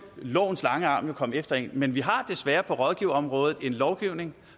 lovens lange arm komme efter en men vi har desværre på rådgiverområdet en lovgivning